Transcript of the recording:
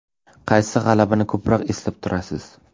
Qaysi g‘alabani ko‘proq eslab turasiz?